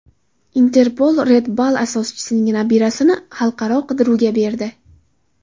Interpol Red Bull asoschining nabirasini xalqaro qidiruvga berdi.